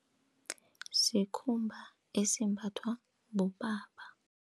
Sikhumba esimbathwa bobaba.